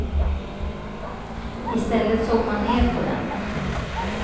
Istället såg man ner på den.